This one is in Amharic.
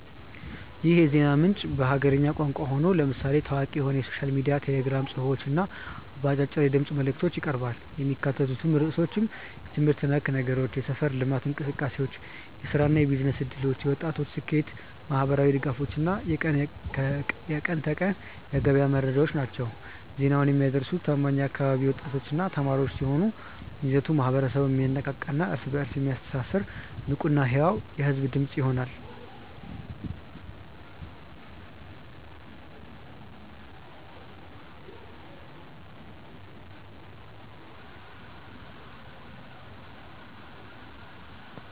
ይህ የዜና ምንጭ በሀገርኛ ቋንቋ ሆኖ፣ ለምሳሌ ታዋቂ በሆነው ሶሻል ሚዲያ ቴሌግራም ጽሑፎች እና በአጫጭር የድምፅ መልዕክቶች ይቀርባል። የሚካተቱት ርዕሶችም የትምህርት ነክ ነገሮች፣ የሰፈር ልማት እንቅሰቃሴዎች፣ የሥራና የቢዝነስ ዕድሎች፣ የወጣቶች ስኬት፣ ማኅበራዊ ድጋፎች እና የቀን ከቀን የገበያ መረጃዎች ናቸው። ዜናውን የሚያደርሱት ታማኝ የአካባቢው ወጣቶችና ተማሪዎች ሲሆኑ፣ ይዘቱ ማኅበረሰቡን የሚያነቃቃና እርስ በእርስ የሚያስተሳስር ንቁና ሕያው የሕዝብ ድምፅ ይሆናል።